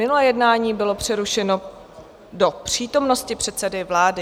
Minulé jednání bylo přerušeno do přítomnosti předsedy vlády.